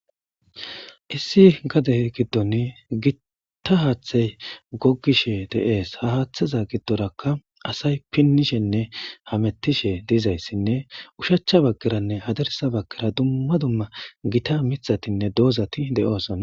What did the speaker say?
issi gade giddon gitta haaththey gogishe de7ees ha haaththeza giddorakka asay pinnishenne hamettishe diizayssinne ushachcha baggeranne hadarisa baggera dumma dumma gita mithatinne doozati de7oosoa